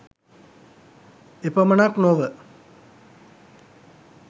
එපමණක් නොව